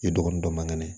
I dɔgɔnin dɔ man kɛnɛ